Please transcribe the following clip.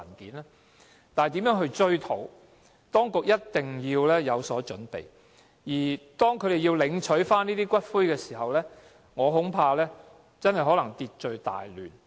如何應對消費者追討賠償，當局一定要有所準備，否則當他們領取骨灰時，我恐怕可能真的會秩序大亂。